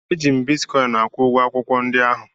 Eji m bitkọịn akwụ ụgwọ akwụkwọ ndi ahụ.